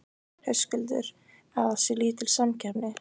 Höskuldur: Að það sé lítil samkeppni?